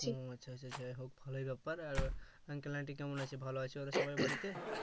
ও আচ্ছা আচ্ছা যাইহোক ভালোই ব্যাপার আর uncle aunty কেমন আছেন ভালোই আছেন সবাই বাড়িতে